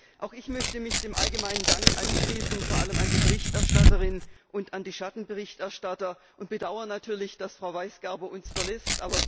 Frau Präsidentin! Auch ich möchte mich dem allgemeinen Dank anschließen, vor allem an die Berichterstatterin und an die Schattenberichterstatter, und bedaure natürlich, dass Frau Weisgerber uns verlässt.